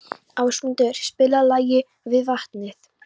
Ásmundur, spilaðu lagið „Við vatnið“.